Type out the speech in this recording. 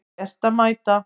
Gert að mæta